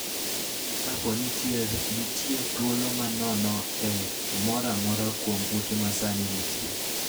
Kapo ni nitie thuolo ma nono e moro amora kuom ute ma sani nitie,